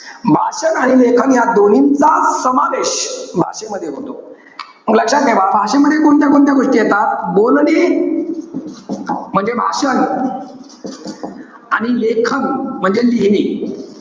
भाषण आणि लेखन या दोन्हींचा, समावेश भाषेमध्ये होतो. मग लक्षात ठेवा, भाषेमध्ये कोणत्या-कोणत्या गोष्टी येतात? बोलणे म्हणजे भाषण. आणि लेखन म्हणजे लिहिणे.